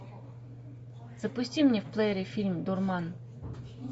запусти мне в плеере фильм дурман